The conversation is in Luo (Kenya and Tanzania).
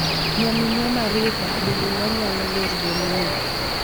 Nyaminwa Maritha, donge wanyalo wer wendni?